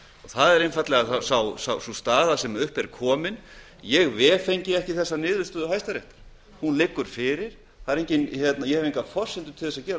það er einfaldlega sú staða sem upp er komin ég vefengi ekki þessa niðurstöðu hæstaréttar hún liggur fyrir ég hef engar forsendur til að gera